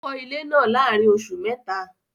Ó kọ́ ilé náà láàárín oṣù mẹ́ta